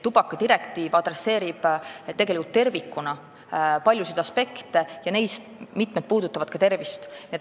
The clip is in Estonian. Tubakadirektiiv peab tervikuna silmas paljusid aspekte ja neist mitmed puudutavad tervist.